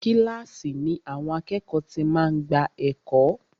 Kílàsì ni àwọn àkẹ́ẹ̀kọ́ ti máa ń gbà ẹ̀kọ́.